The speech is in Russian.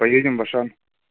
поедем в ашан